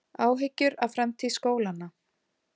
Áhyggjur af framtíð skólanna